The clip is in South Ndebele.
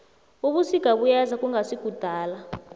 ubusika buyeza kungasikudala